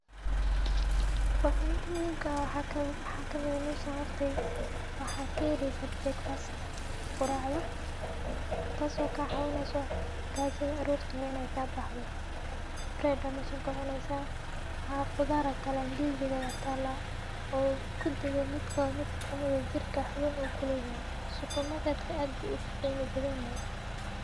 Wixi muhimka ah waxaa kamid ah meshan waxa kaheleysaah breakfast quracda tas oo kacawineyso gajada arorti hore in ay kabaxdo. Bread aa sogadaneysaah haa qudar aa talah ndisi aa talah oo kudigod oo jirka xubin uu kuleyahay. Supermarket-ka ad bu uqeyma badanyahay.